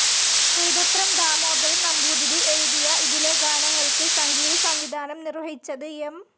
കൈതപ്രം ദാമോദരൻ നമ്പൂതിരി എഴുതിയ ഇതിലെ ഗാനങ്ങൾക്ക് സംഗീതസംവിധാനം നിർവ്വഹിച്ചത് എം.